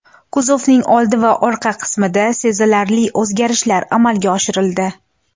Kuzovning old va orqa qismida sezilarli o‘zgarishlar amalga oshirildi.